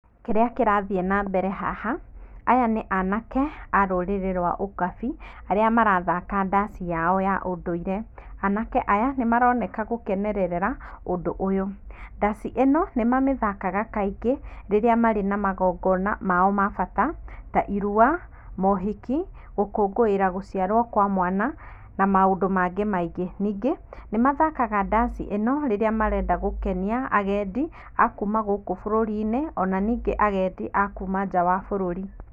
Kĩrĩa kĩrathiĩ na mbere haha aya nĩ anake a rũrĩrĩ rwa ũkabi arĩa marathaka ndaci yao ya ũndũire, anake aya nĩ maroneka gũkenerera ũndũ ũyũ. Ndaci ĩno nĩ mamĩthakaga kaingĩ rĩrĩa marĩ na magongona mao ma bata ta irua, mohiki, gũkũngũĩra gũciarwo kwa mwana na maũndũ mangĩ maingĩ. Ningĩ nĩmathakaga ndaci ĩno rĩrĩa marenda gũkenia agendi a kuma gũkũ bũrũri -inĩ ona ningĩ agendi a kuma nja wa bũrũri.